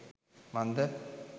මන්ද